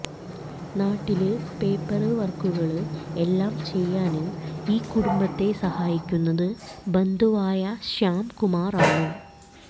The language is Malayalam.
നാട്ടില് പേപ്പര് വര്ക്കുകള് എല്ലാം ചെയ്യാന് ഈ കുടുംബത്തെ സഹായിക്കുന്നത് ബന്ധുവായ ശ്യാംകുമാര് ആണ്